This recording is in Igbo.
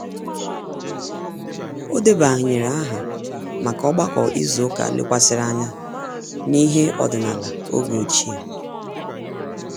O debanyere aha maka ogbako izu ụka lekwasịrị anya n'ihe ọdịnala oge ochie